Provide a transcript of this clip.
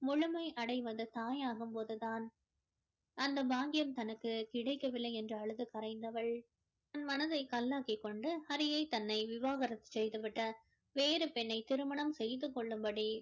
முழுமை அடைவது தாயாகும் போது தான் அந்த பாக்கியம் தனக்கு கிடைக்கவில்லை என்று அழுது கரைந்தவள் தன் மனதை கல்லாக்கி கொண்டு ஹறியை தன்னை விவாகரத்து செய்து விட்டு வேறு பெண்ணை திருமணம் செய்து கொள்ளும்படி